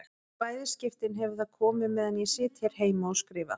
Í bæði skiptin hefur það komið meðan ég sit hér heima og skrifa.